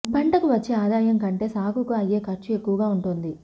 పంటకు వచ్చే ఆదాయం కంటే సాగుకు అయ్యే ఖర్చు ఎక్కువగా వుంటోంది